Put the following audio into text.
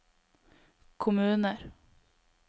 kommuner